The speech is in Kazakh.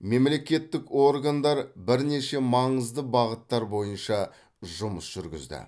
мемлекеттік органдар бірнеше маңызды бағыттар бойынша жұмыс жүргізді